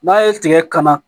N'a ye tigɛ kana